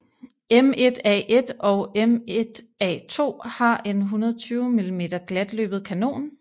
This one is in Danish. M1A1 og M1A2 har en 120 mm glatløbet kanon